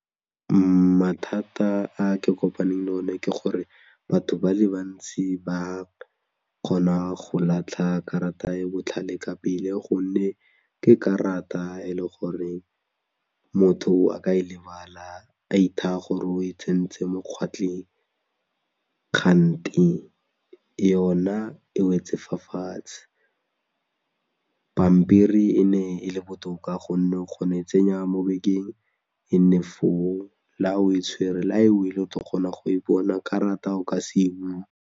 Mathata a ke kopaneng le one ke gore batho ba le bantsi ba kgona go latlha karata e botlhale ka pele gonne ke karata e leng gore motho a ka e lebala ithaya gore o e tsentse mo kgwatlheng, kgante yona e wetse fa fatshe pampiri e ne e le botoka gonnep kgono e tsenya mo bekeng e nne foo, la ha o e tshwere kgone go e boela karata o ka se e boele.